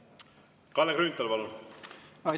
Kalle Grünthal, palun!